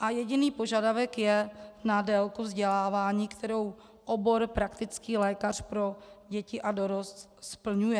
a jediný požadavek je na délku vzdělávání, kterou obor praktický lékař pro děti a dorost splňuje.